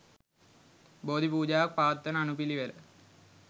බෝධි පූජාවක් පවත්වන අනුපිළිවෙල